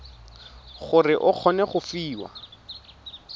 gore o kgone go fiwa